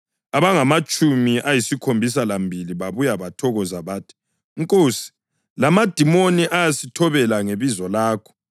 Abangamatshumi ayisikhombisa lambili babuya bethokoza bathi, “Nkosi, lamadimoni ayasithobela ngebizo lakho.”